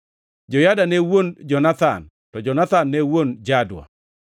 Joyada ne wuon Jonathan, to Jonathan ne wuon Jadua.